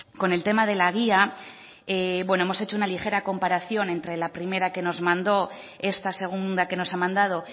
con el tema de la guía hemos hecho una ligera comparación entre la primera que nos mandó esta segunda que nos ha mandado